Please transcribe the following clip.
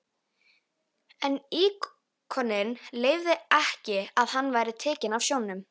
En íkoninn leyfði ekki að hann væri tekinn af sjónum.